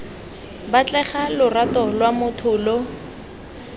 batlega lorato lwa motho lo